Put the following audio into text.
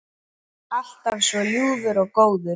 Alltaf svo ljúfur og góður.